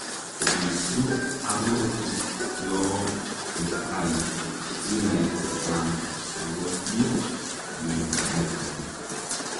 Isuuup arorutyoo nitai sinai chechang akopii mionitook